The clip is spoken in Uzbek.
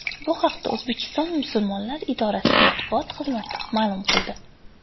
Bu haqda O‘zbekiston Musulmonlar idorasi matbuot xizmati ma’lum qildi .